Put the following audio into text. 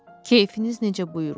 Keyfiniz necə buyurur.